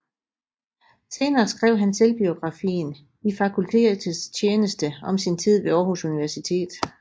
Senere skrev han selvbiografien I Fakultetets Tjeneste om sin tid ved Aarhus Universitet